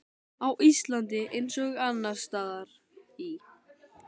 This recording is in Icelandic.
Á Íslandi, eins og annars staðar í